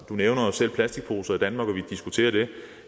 nævner jo selv plastikposer i danmark og at vi diskuterer det